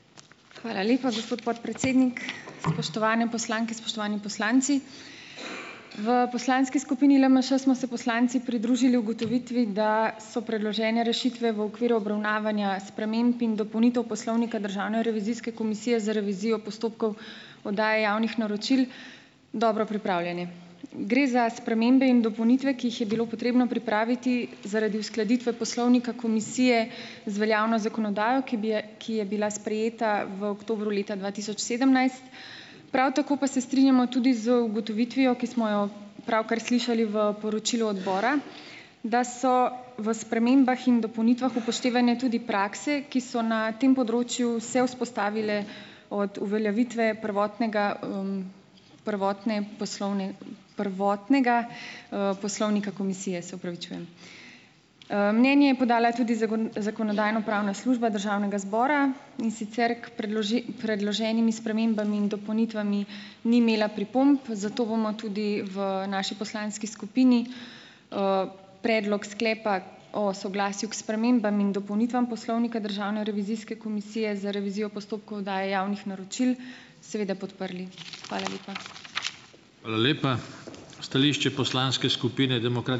Hvala lepa, gospod podpredsednik. Spoštovane poslanke, spoštovani poslanci. V poslanski skupini LMŠ smo se poslanci pridružili ugotovitvi, da so predložene rešitve v okviru obravnavanja sprememb in dopolnitev poslovnika Državne revizijske komisije za revizijo postopkov oddaje javnih naročil dobro pripravljene. Gre za spremembe in dopolnitve, ki jih je bilo potrebno pripraviti zaradi uskladitve poslovnika komisije z veljavno zakonodajo, ki bi je ki je bila sprejeta v oktobru leta dva tisoč sedemnajst. Prav tako pa se strinjamo tudi z ugotovitvijo, ki smo jo pravkar slišali v poročilu odbora, da so v spremembah in dopolnitvah upoštevane tudi prakse, ki so na tem področju se vzpostavile od uveljavitve prvotnega, prvotne poslovne, prvotnega, poslovnika komisije. Se opravičujem. Mnenje je podala tudi Zakonodajno-pravna služba Državnega zbora, in sicer k predloženim spremembam in dopolnitvam ni imela pripomb, zato bomo tudi v naši poslanski skupini predlog sklepa o soglasju k spremembam in dopolnitvam poslovnika Državne revizijske komisije za revizijo postopkov oddaje javnih naročil seveda podprli. Hvala lepa.